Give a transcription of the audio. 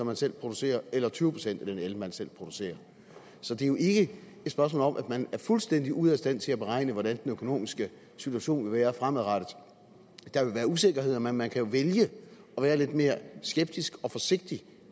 man selv producerer eller tyve procent af den el man selv producerer så det er jo ikke et spørgsmål om at man er fuldstændig ude af stand til at beregne hvordan den økonomiske situation vil være fremadrettet der vil være usikkerheder men man kan jo vælge at være lidt mere skeptisk og forsigtig